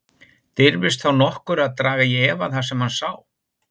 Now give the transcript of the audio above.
Dirfist þá nokkur að draga í efa það sem hann sá?